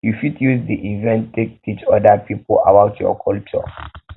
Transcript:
you fit use di fit use di event take teach oda pipo about your culture